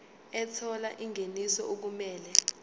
ethola ingeniso okumele